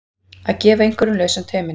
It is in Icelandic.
Að gefa einhverjum lausan tauminn